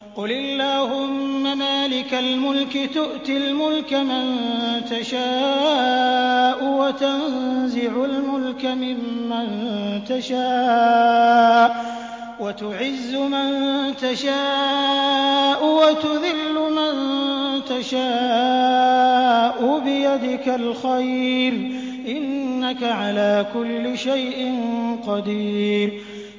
قُلِ اللَّهُمَّ مَالِكَ الْمُلْكِ تُؤْتِي الْمُلْكَ مَن تَشَاءُ وَتَنزِعُ الْمُلْكَ مِمَّن تَشَاءُ وَتُعِزُّ مَن تَشَاءُ وَتُذِلُّ مَن تَشَاءُ ۖ بِيَدِكَ الْخَيْرُ ۖ إِنَّكَ عَلَىٰ كُلِّ شَيْءٍ قَدِيرٌ